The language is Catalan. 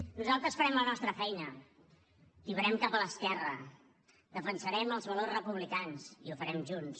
nosaltres farem la nostra feina tibarem cap a l’esquerra defensarem els valors republicans i ho farem junts